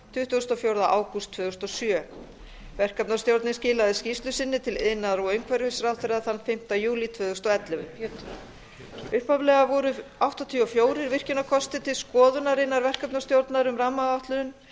tuttugasta og fjórða ágúst tvö þúsund og sjö verkefnastjórnin skilaði skýrslu sinni til iðnaðar og umhverfisráðherra þann fimmta júlí tvö þúsund og ellefu upphaflega voru áttatíu og fjögur virkjunarkostir til skoðunarinnar innan verkefnastjórnar um rammaáætlun en